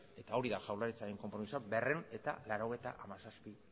eta hori da jaurlaritzaren konpromisoa berrehun eta laurogeita hamazazpi